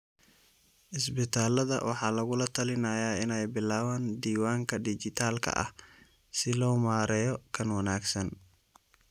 Isbitaalada waxaa lagula talinayaa inay bilaabaan diiwaanka dhijitaalka ah si loo maareeyo kan wanaagsan.